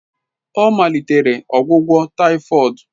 Ọ malitela ọgwụgwọ typhoid.